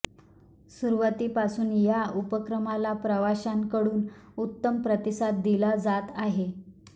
सुरुवातीपासून या उपक्रमाला प्रवाशांकडून उत्तम प्रतिसाद दिला जात आहे